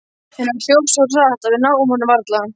En hann hljóp svo hratt að við náum honum varla.